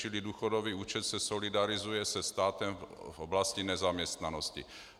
Čili důchodový účet se solidarizuje se státem v oblasti nezaměstnanosti.